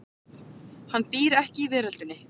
Hann býr ekki í veröldinni.